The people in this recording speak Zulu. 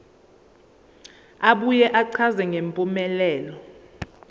abuye achaze ngempumelelo